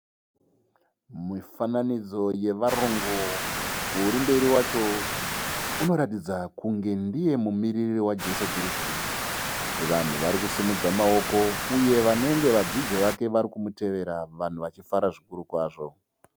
Mifanidzo yevarungu. Uri mberi wacho unoratidza kunge ndiye mumiriri waJesu Kristu. Vanhu vari kusimudza maoko. uyevanenge vadzidzi vake varikumutevera vanhu vachifara zvikuru kwazvo.